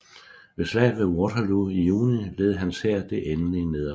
Ved Slaget ved Waterloo i juni led hans hær det endelige nederlag